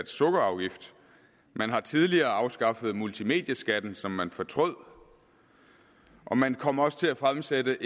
sukkerafgift man har tidligere afskaffet multimedieskatten som man fortrød og man kom også til at fremsætte